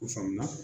O faamu na